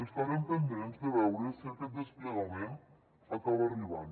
estarem pendents de veure si aquest desplegament acaba arribant